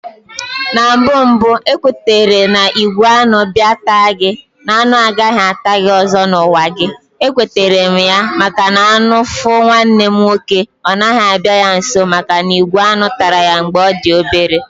Na mbụ mbụ ekwetera na igwe Añụ bịa taa gi, na anụ agaghị ata gị ọzọ na ụwa gị, ekweterem ya, maka na anụ fu nwanne m nwoke ọ naghị abịa ya nso maka na ìgwè añụ tara ya mgbe ọ dị obere